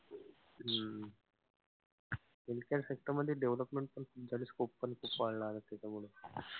हम्म healthcare sector मध्ये development पण scope पण वाढला आता त्याच्यामुळे.